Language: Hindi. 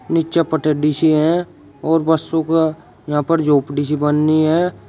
नीचे पटडीसी है और बसों का यहां पर झोपड़ी सी बनी है।